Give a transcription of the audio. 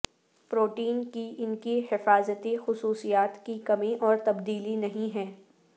protein کی ان کی حفاظتی خصوصیات کی کمی اور تبدیلی نہیں ہے